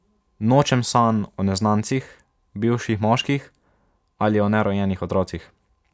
Nočem sanj o neznancih, bivših moških ali o nerojenih otrocih.